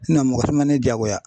mɔgɔ si man ne jaagoya.